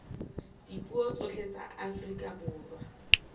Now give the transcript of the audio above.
dipuo tsohle tsa afrika borwa